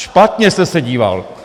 Špatně jste se díval.